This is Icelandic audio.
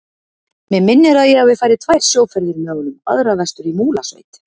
Mig minnir að ég hafi farið tvær sjóferðir með honum, aðra vestur í Múlasveit.